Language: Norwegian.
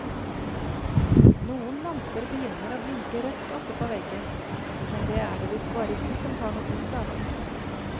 Noen lamper begynner å blinke rødt oppe på veggen, men det er det visst bare vi som tar notis av.